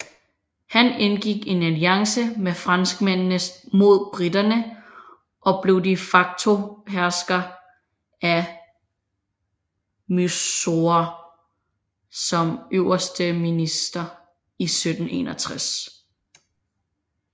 Han indgik en alliance med franskmændene mod briterne og blev de facto hersker af Mysore som øverste minister i 1761